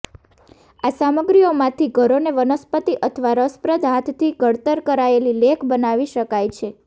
આ સામગ્રીઓમાંથી ઘરોને વનસ્પતિ અથવા રસપ્રદ હાથથી ઘડતર કરાયેલી લેખ બનાવી શકાય છે